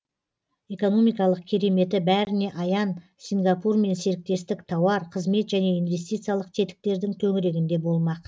экономикалық кереметі бәріне аян сингапурмен серіктестік тауар қызмет және инвестициялық тетіктердің төңірегінде болмақ